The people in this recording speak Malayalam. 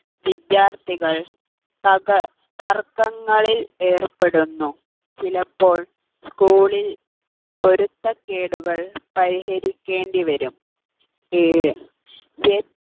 വിദ്യാർത്ഥികൾ തക തർക്കങ്ങളിൽ ഏർപ്പെടുന്നു ചിലപ്പോൾ school ൽ പൊരുത്തക്കേടുകൾ പരിഹരിക്കേണ്ടിവരും ഏഴ്